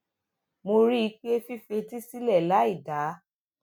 mo rí i pé fífetí sílè láì dá